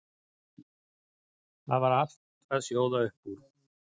Það var allt að sjóða upp úr.